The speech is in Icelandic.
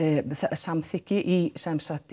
samþykki í sem sagt